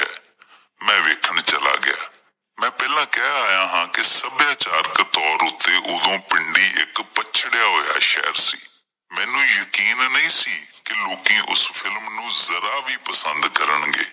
ਮੈਂ ਵੇਖਣ ਚਲਾ ਗਿਆ ਮੈਂ ਪਹਿਲਾਂ ਕਹਿ ਆਇਆ ਹਾਂ ਕੀ ਸੱਭਿਆਚਾਰਕ ਤੌਰ ਤੇ ਉਦੋਂ ਪਿੰਡੀ ਇੱਕ ਪੱਛੜਿਆ ਹੋਇਆ ਸ਼ਹਿਰ ਸੀ ਮੈਨੂੰ ਯਕੀਨ ਨਹੀਂ ਸੀ ਕੀ ਲੋਕੀਂ ਓਸ ਫਿਲਮ ਨੂੰ ਜਰਾ ਵੀ ਪਸੰਦ ਕਰਨਗੇ।